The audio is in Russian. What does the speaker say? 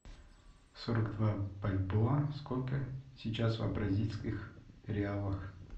сорок два бальбоа сколько сейчас в бразильских реалах